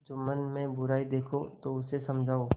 जुम्मन में बुराई देखो तो उसे समझाओ